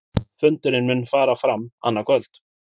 Fundurinn mun fara fram annað kvöld